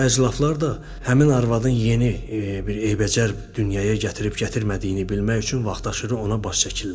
Bu əclafılar da həmin arvadın yeni bir eybəcər dünyaya gətirib gətirmədiyini bilmək üçün vaxtaşırı ona baş çəkirlər.